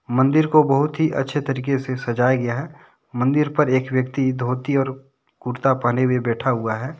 मंदिर को बहुत ही अच्छे तरीके से सजाया गया है मंदिर पर एक व्यक्ति धोती और कुर्ता पहने हुए बैठा हुआ है।